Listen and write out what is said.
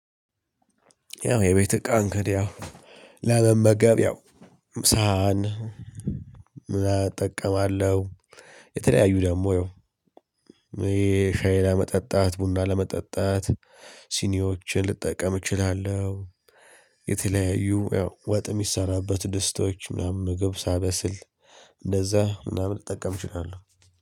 ያው የቤት እቃ እንግዲህ ያው ለመመገብ ያው ሳህን እጠቀማለሁ የተለያዩ ደግሞ ያው ሻይ ለመጠጣት ቡና ለመጠጣት ሲኒዎችን ልጠቀም እችላለሁ። የተለያዩ ያው ወጥ የሚሰራበት ድስቶች ምናምን ምግብ ሳበስል እንደዛ ምናምን እጠቀምችናለሁ።